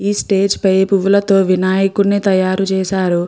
ఈ స్టేజ్ పై పువ్వులతో వినాయకుడిని తయారు చేశారు.